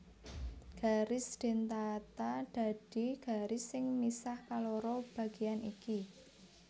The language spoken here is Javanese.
Garis dentata dadi garis sing misah kaloro bageyan iki